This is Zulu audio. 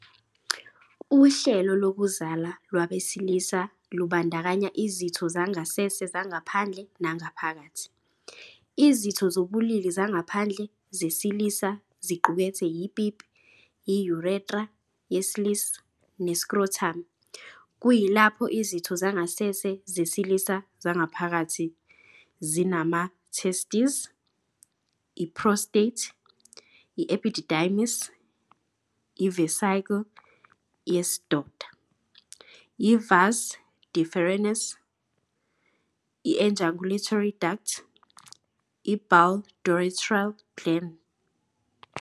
Uhlelo lokuzala lwabesilisa lubandakanya izitho zangasese zangaphandle nangaphakathi. Izitho zobulili zangaphandle zesilisa ziqukethe ipipi, i-urethra yesilisa, ne-scrotum, kuyilapho izitho zangasese zesilisa zangaphakathi zinama-testes, i-prostate, i-epididymis, i-vesicle yesidoda, i-vas deferens, i-ejaculatory duct, ne-bulbourethral gland.